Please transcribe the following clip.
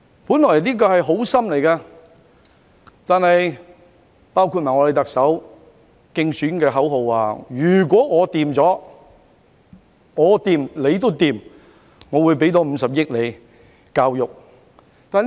本來這是做好心，我們特首的競選口號亦提到"如果我掂，你都掂"，更會增撥50億元到教育方面。